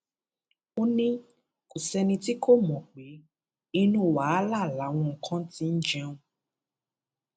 ó ní kò sẹni tí kò mọ pé inú wàhálà làwọn kan ti ń jẹun